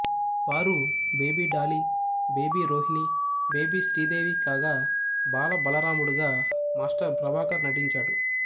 వారు baby Dolly baby Rohini baby Sridevi కాగా బాల బలరాముడుగా మాస్టర్ ప్రభాకర్ నటించాడు